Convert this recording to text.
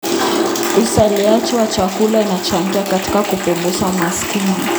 Uzalishaji wa chakula unachangia katika kupunguza umaskini.